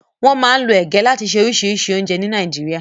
Wọ́n máa ń lo ege láti ṣe oríṣìíríṣìí oúnjẹ ní Nàìjíríà.